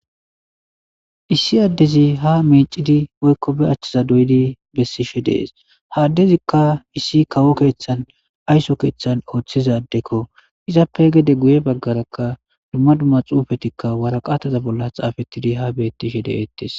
Issi addezi ha meecidi woykko be achchiza doyidi bessishe dees haaddezikka issi kawo keeththan ayso keeththan ooththizaddekko izappe gede guye baggarakka dumma dumma xuufetikka waraqataza bolla xaafettidi ha beettishe de'eettes.